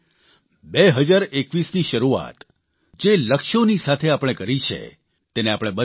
એટલા માટે 2021ની શરૂઆત જે લક્ષ્યોની સાથે આપણે કરી છે